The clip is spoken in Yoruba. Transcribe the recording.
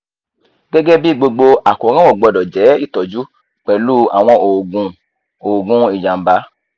gẹ́gẹ́ bí gbogbo àkóràn ó gbọ́dọ̀ jẹ́ ìtọ́jú pẹ̀lú àwọn oògùn oògùn ìjàmbá